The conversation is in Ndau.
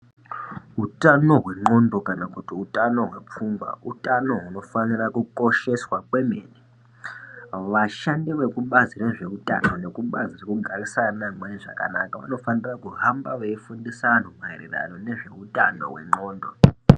Utano hwendxondo kana kuti utano hwepfungwa utano hunofanira kukosheswa kwemene. Vashandi vekubazi rezveutano nekubazi rekugarisana neamweni zvakanaka rinofanira kuhamba veifundisa antu maererano nezveutano hwendxondo.